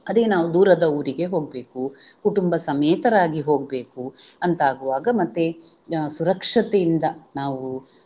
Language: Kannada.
ಅದೇ ನಾವು ದೂರದ ಊರಿಗೆ ಹೋಗ್ಬೇಕು ಕುಟುಂಬ ಸಮೇತರಾಗಿ ಹೋಗ್ಬೇಕು ಅಂತಾಗುವಾಗ ಮತ್ತೆ ಸುರಕ್ಷತೆಯಿಂದ ನಾವು